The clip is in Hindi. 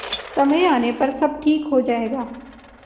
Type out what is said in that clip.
समय आने पर सब ठीक हो जाएगा